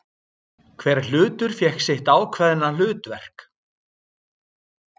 Hver hlutur fékk sitt ákveðna hlutverk.